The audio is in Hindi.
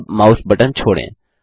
अब माउस बटन छोड़ें